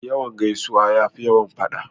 Yawan gaisuwa ya fi yawan faɗa.